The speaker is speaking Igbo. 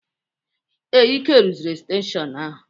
Ee, Ike rụziri estenshịon ahụ.